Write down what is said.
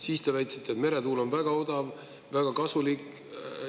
Siis te väitsite, et meretuul on väga odav, väga kasulik.